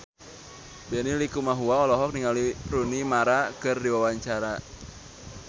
Benny Likumahua olohok ningali Rooney Mara keur diwawancara